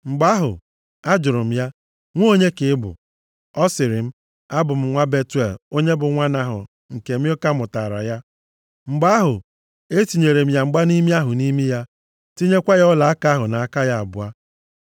“Mgbe ahụ, ajụrụ m ya, ‘Nwa onye ka ị bụ?’ “Ọ sịrị m, ‘Abụ m nwa Betuel onye bụ nwa Nahọ nke Milka mụtaara ya.’ “Mgbe ahụ etinyere m ya mgbanimi ahụ nʼimi ya, tinyekwa ọlaaka ahụ nʼaka ya abụọ.